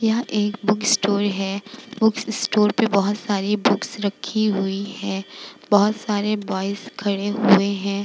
यह एक book store है। बुक स्टोर पे बोहोत सारी बुक्स रखी हुई हैं। बोहोत सारे ब्वॉयज खड़े हुई हैं।